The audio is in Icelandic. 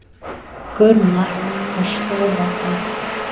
Gunnar og stóð á fætur.